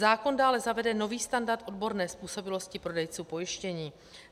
Zákon dále zavede nový standard odborné způsobilosti prodejců pojištění.